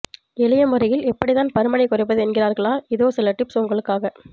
எளிய முறையில் எப்படிதான் பருமனைக்குறைப்பது என்கிறீர்களா இதோ சில டிப்ஸ் உங்களுக்காக